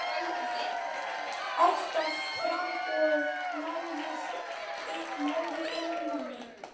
Átta framboð náðu inn manni.